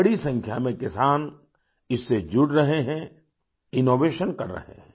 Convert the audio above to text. बड़ी संख्या में किसान इससे जुड़ रहे हैं इनोवेशन कर रहे हैं